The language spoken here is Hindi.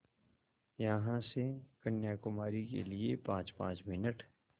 यहाँ से कन्याकुमारी के लिए पाँचपाँच मिनट